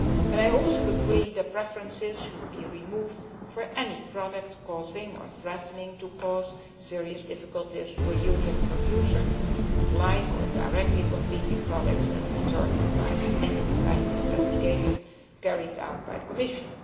I also agree that preferences should be removed for any product causing or threatening to cause serious difficulties to a Union producer of like or directly competing products, as determined by an investigation carried out by the Commission.